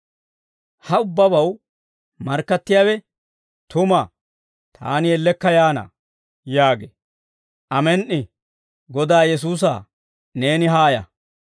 Ha ubbabaw markkattiyaawe, «Tuma! Taani ellekka yaana» yaagee. Amen"i. Godaa Yesuusaa, neeni haaya.